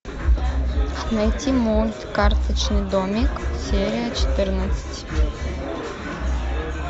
найти мульт карточный домик серия четырнадцать